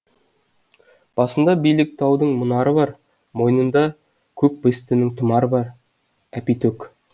басында биік таудың мұнары бар мойнында көк бестінің тұмары бар әпитөк